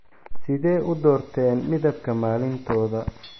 Sidee u doorteen midabka maalintooda?